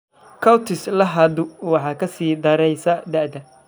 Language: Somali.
Cutis laxadu waxay ka sii daraysaa da'da.